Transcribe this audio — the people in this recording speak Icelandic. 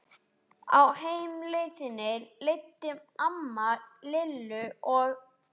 Á heimleiðinni leiddi amma Lillu og